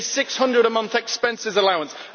a EUR 600 a month expense allowance